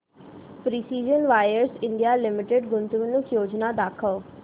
precision Wires India Limited गुंतवणूक योजना दाखव